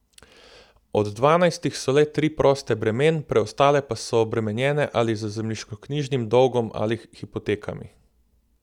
Od dvanajstih so le tri proste bremen, preostale pa so obremenjene ali z zemljiškoknjižnim dolgom ali hipotekami.